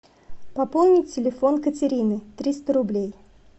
пополнить телефон катерины триста рублей